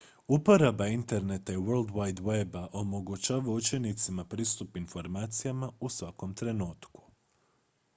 uporaba interneta i world wide weba omogućava učenicima pristup informacijama u svakom trenutku